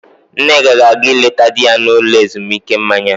Nneka ga-aga ịleta di ya n'ụlọ ezumuike mmanya.